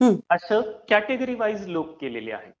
असं category wise लोक केलेले आहेत.